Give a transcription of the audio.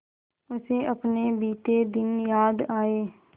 उसे अपने बीते दिन याद आए